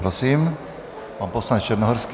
Prosím, pan poslanec Černohorský.